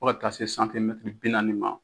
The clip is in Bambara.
Aw ka taa se bi naani.